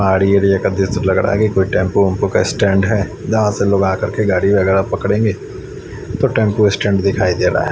पहाड़ी एरिया का दृश्य लग रहा है की कोई टेंपू ओम्पू का स्टैंड है जहां से लोग आ करके गाड़ी वगैरा पकड़ेंगे तो टेंपू स्टैंड दिखाई दे रहा --